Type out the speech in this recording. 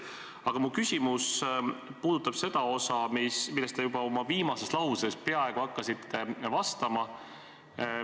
Aga mu küsimus puudutab seda, mille kohta te oma viimases lauses peaaegu juba hakkasite vastama.